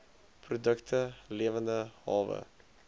produkte lewende hawe